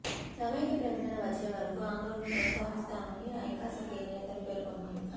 సమైక్య ప్రకటన వచ్చే వరకు ఆందోళనలు కొనసాగిస్తామని ఐకాస నేతలు పేర్కొన్నారు